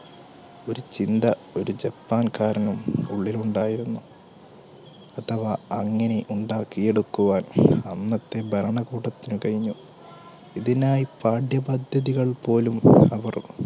ഒരു ചിന്ത ഒരു ജപ്പാൻക്കാരനും ഉള്ളിൽ ഉണ്ടായിരുന്നു അഥവാ അങ്ങിനെ ഉണ്ടാക്കി എടുക്കുവാൻ അന്നത്തെ ഭരണക്കൂടത്തിന് കയിന്നു ഇതിനായി പാഠ്യപദ്ധതികൾ പോലും അവർ